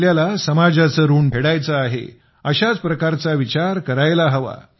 आपल्याला समाजाचे ऋण फेडायचे आहे अशाच प्रकारचा विचार करायला हवा